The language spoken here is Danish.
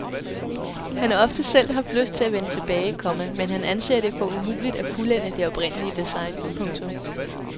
Han har ofte selv haft lyst til at vende tilbage, komma men han anser det for umuligt at fuldende det oprindelige design. punktum